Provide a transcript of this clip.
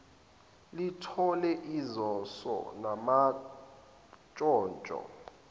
lithole izoso namantshontsho